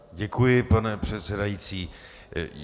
Děkuji, pane předsedající.